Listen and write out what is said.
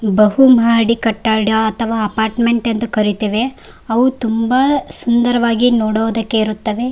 ಬಹು ಮಹಡಿ ಕಟ್ಟಡ ಅಥವಾ ಅಪಾರ್ಟ್ಮೆಂಟ್ ಎಂದು ಕರೆಯುತ್ತೇವೆ ಅವು ತುಂಬಾ ಸುಂದರವಾಗಿ ನೋಡೋದಕ್ಕೆ ಇರುತ್ತವೆ .